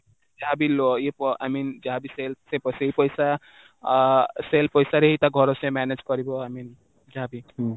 ଯାହା ବି I mean ଯାହା ବି sale ସେ ପଇସା ଅ sale ପଇସା ରେ ହିଁ ତା ଘର ସେ manage କରିବ I mean ଯାହା ବି